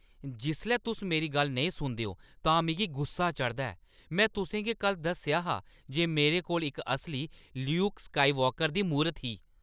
जिसलै तुस मेरी गल्ल नेईं सुनदे ओ तां मिगी गुस्सा चढ़दा ऐ। में तुसें गी कल्ल दस्सेआ हा जे मेरे कोल इक असली ल्यूक स्काईवॉकर दी मूरत ही।